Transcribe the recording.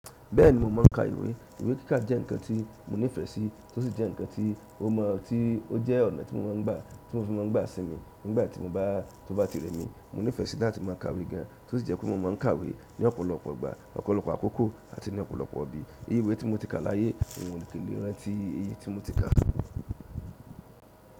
Bẹ́ẹ̀ni mo máà ń ka ìwé. Ìwé kíká jẹ́ nǹkan tí mo nífẹ́ sí tó sì jẹ́ nǹkan tí ó mọ tí ó jẹ́ ọ̀nà tí mo máa ń gbà tí mo fi máa ń gbà sínmi nígbà tí mo bá tó bá tìrẹ́ mi. Mo nífẹ́ sí láti máa ka ìwé gan tó sì jẹ́ pé mo máa ń kàwé ní ọ̀pọ̀lọpọ̀ ìgbà, ọ̀pọ̀lọpọ̀ àkókò àti ní ọ̀pọ̀lọpọ̀ ibi. Ìwé tí mo ti kà láyé òún mi lè rántí èyí tí mo ti kà.